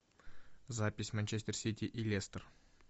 запись манчестер сити и лестер